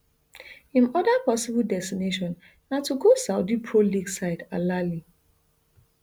im oda possible destination na to go saudi pro league side alahli